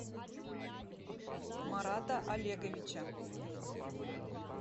марата олеговича